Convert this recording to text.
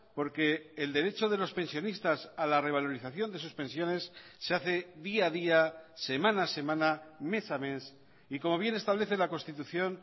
porque el derecho de los pensionistas a la revalorización de sus pensiones se hace día a día semana a semana mes a mes y como bien establece la constitución